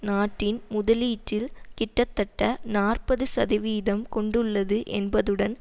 நாட்டின் முதலீட்டில் கிட்டத்தட்ட நாற்பது சதவீதம் கொண்டுள்ளது என்பதுடன்